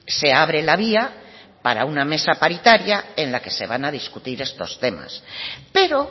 se abre la vía para una mesa paritaria en la que se van a discutir estos temas pero